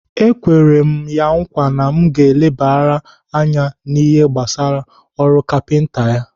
Ekwere m ya nkwa na m ga-elebara ya anya n'ihe gbasara ọrụ kapinta ya.